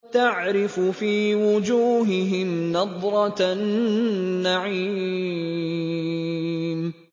تَعْرِفُ فِي وُجُوهِهِمْ نَضْرَةَ النَّعِيمِ